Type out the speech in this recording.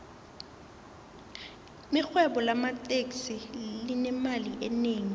irhwebo lamateksi linemali enengi